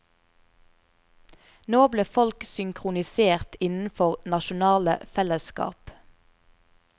Nå ble folk synkronisert innenfor nasjonale fellesskap.